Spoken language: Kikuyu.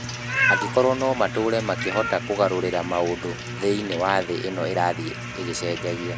Angĩkorũo no matũũre makĩhota kũgarũrĩra maũndũ thĩinĩ wa thĩ ĩno ĩrathiĩ ĩgĩcenjia.